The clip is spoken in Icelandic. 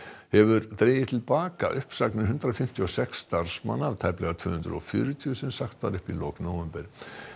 hefur dregið til baka uppsagnir hundrað fimmtíu og sex starfsmanna af tæplega tvö hundruð og fjörutíu sem sagt var upp í lok nóvember